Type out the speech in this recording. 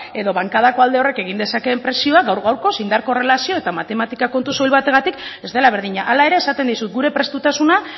edo bankadako alde horrek egin dezakeen presioa gaur gaurkoz indar korrelazio eta matematikako kontu soil batengatik ez dela berdina hala ere esaten dizut gure prestutasuna